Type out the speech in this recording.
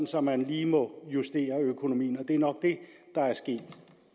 så man lige må justere økonomien og det er nok det der er sket